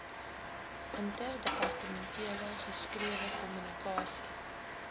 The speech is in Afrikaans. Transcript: interdepartementele geskrewe kommunikasie